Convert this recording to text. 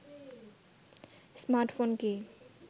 smartphone কি